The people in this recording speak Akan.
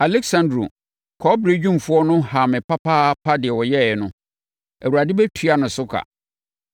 Aleksandro, kɔbere dwumfoɔ no, haa me papaapa; deɛ ɔyɛeɛ no, Awurade bɛtua ne so ka.